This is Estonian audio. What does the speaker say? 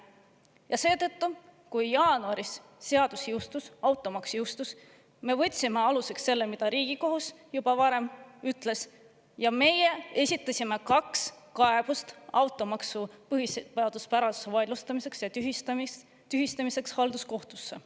Ja seetõttu, kui jaanuaris seadus jõustus, automaks jõustus, me võtsime aluseks selle, mida Riigikohus juba varem oli öelnud, ja me esitasime kaks kaebust automaksu põhiseaduspärasuse vaidlustamiseks ja tühistamiseks halduskohtusse.